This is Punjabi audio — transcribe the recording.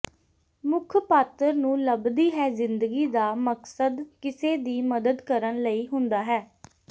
ਮੁੱਖ ਪਾਤਰ ਨੂੰ ਲੱਭਦੀ ਹੈ ਜ਼ਿੰਦਗੀ ਦਾ ਮਕਸਦ ਕਿਸੇ ਦੀ ਮਦਦ ਕਰਨ ਲਈ ਹੁੰਦਾ ਹੈ